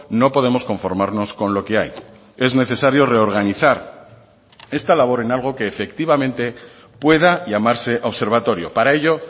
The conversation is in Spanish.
no podemos conformarnos con lo que hay es necesario reorganizar esta labor en algo que efectivamente pueda llamarse observatorio para ello